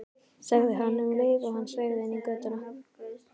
sagði hann um leið og hann sveigði inn í götuna.